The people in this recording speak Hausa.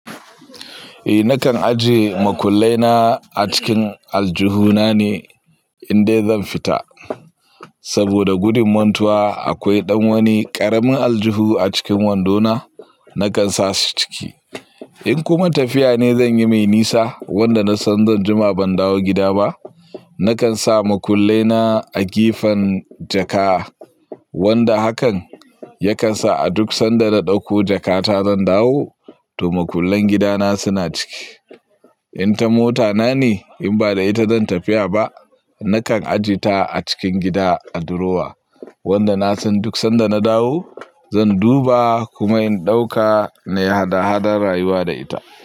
Eh nakan ajiye makullai na a cikin aljihu na ne in dai zan fita, saboda gudun mantuwa akwai ɗan wani ƙaramin aljihu a cikin wando na, nakan sa su ciki. In kuma tafiya ne zan yi mai nisa wanda na san zan jima ban dawo gida ba, nakan sa makullai na a gefen jaka. Wanda hakan ya kan sa a duk sanda na ɗauko jakata zan dawo, to makullan gida na suna ciki. In ta mota na ne in ba da ita zan tafiya ba, nakan ajiye ta a cikin gida a durowa, wanda na san duk sanda na dawo zan duba kuma in ɗauka na yi hada hadar rayuwa da ita.